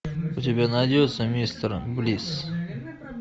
у тебя найдется мистер блисс